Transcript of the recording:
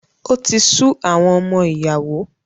O ti su àwọn ọmọ ìyàwó